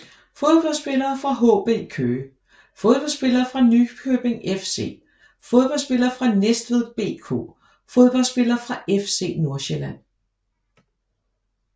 Fodboldspillere fra HB Køge Fodboldspillere fra Nykøbing FC Fodboldspillere fra Næstved BK Fodboldspillere fra FC Nordsjælland